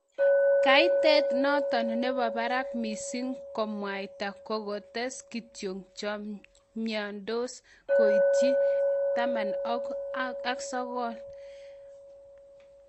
Kaitet noton nebo barak missing kemwayta kokotees kituyo chemyandos koityi 19,913